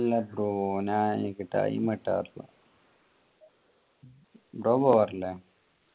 ഇല്ല bro എനിക്ക് time കിട്ടാറില്ല. bro പോകാറില്ലേ?